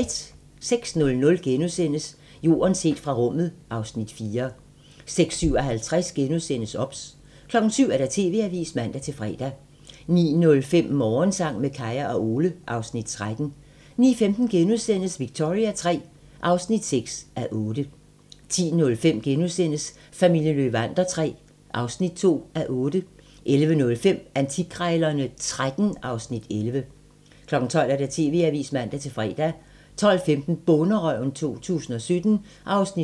06:00: Jorden set fra rummet (Afs. 4)* 06:57: OBS * 07:00: TV-avisen (man-fre) 09:05: Morgensang med Kaya og Ole (Afs. 13) 09:15: Victoria III (6:8)* 10:05: Familien Löwander III (2:8)* 11:05: Antikkrejlerne XIII (Afs. 11) 12:00: TV-avisen (man-fre) 12:15: Bonderøven 2017 (7:10)